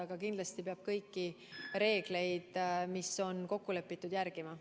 Aga kindlasti peab kõiki reegleid, mis on kokku lepitud, järgima.